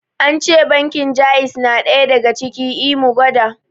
Ance bankin jaiz na ɗaya daga ciki, I mu gwada